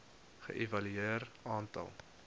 ge evalueer aantal